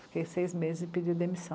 Fiquei seis meses e pedi demissão.